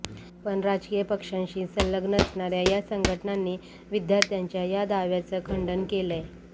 पण राजकीय पक्षांशी संलग्न असणार्या या संघटनांनी विद्यार्थ्यांच्या या दाव्याचं खंडन केलंय